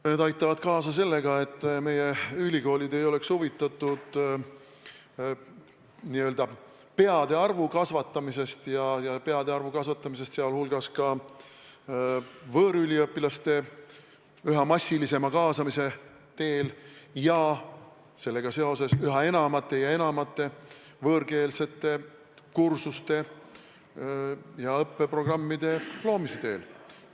Need aitavad kaasa sellega, et meie ülikoolid ei oleks huvitatud n-ö peade arvu kasvatamisest ka võõrüliõpilaste üha massilisema kaasamise teel ja sellega seoses üha enamate võõrkeelsete kursuste ja õppeprogrammide loomise teel.